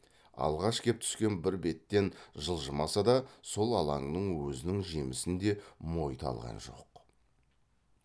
алғаш кеп түскен бір беттен жылжымаса да сол алаңның өзінің жемісін де мойыта алған жоқ